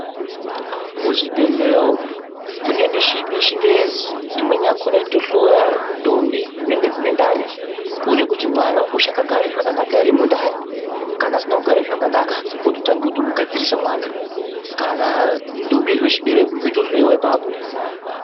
Muzvibhedhleya umu mune michini yechingezi imweni yakona inotohloya ndombi dzinenge dzine ndani. Kuona kuti mwana uchakagara zvakanaka ere mundani. Kana asina kugara zvakanaka vototange kutomugadzirisa mwana. Kana ndombi ichizwe chibereko yotohloiwa ipapo.